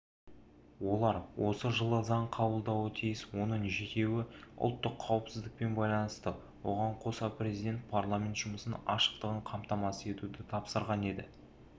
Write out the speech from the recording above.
олар осы жылы заң қабылдауы тиіс оның жетеуі ұлттық қауіпсіздікпен байланысты оған қоса президент парламент жұмысының ашықтығын қамтамасыз етуді тапсырған еді